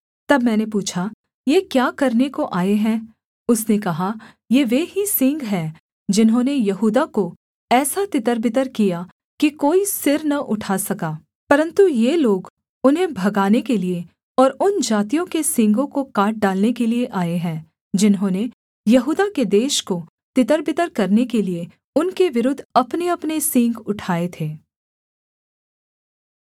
तब मैंने पूछा ये क्या करने को आए हैं उसने कहा ये वे ही सींग हैं जिन्होंने यहूदा को ऐसा तितरबितर किया कि कोई सिर न उठा सका परन्तु ये लोग उन्हें भगाने के लिये और उन जातियों के सींगों को काट डालने के लिये आए हैं जिन्होंने यहूदा के देश को तितरबितर करने के लिये उनके विरुद्ध अपनेअपने सींग उठाए थे